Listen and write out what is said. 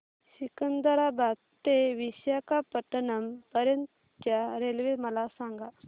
सिकंदराबाद ते विशाखापट्टणम पर्यंत च्या रेल्वे मला सांगा